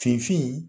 Finfin